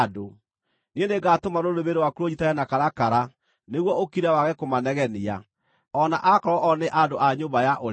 Niĩ nĩngatũma rũrĩmĩ rwaku rũnyiitane na karakara nĩguo ũkire wage kũmanegenia, o na akorwo o nĩ andũ a nyũmba ya ũremi.